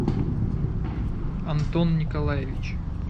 антон николаевич